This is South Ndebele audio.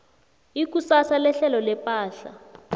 ikusasa lehlelo lepahla